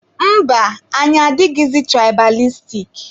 Mba, anyị adịghị tụraịbalistik.